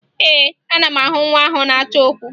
Ee, ana m ahụ nwa ahụ na-achọ okwu